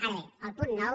ara bé el punt nou